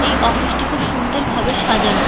এই অফিস টি খুব সুন্দর ভাবে সাজানো।